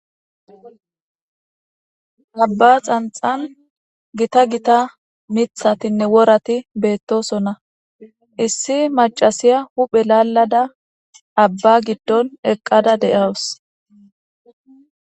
Aba xanixani gitta gitta mithatine worati betosona issi macasya huphe lalada aba gidon eqada de'awus